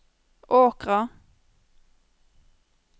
Åkra